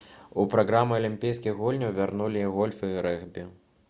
у праграму алімпійскіх гульняў вярнуцца і гольф і рэгбі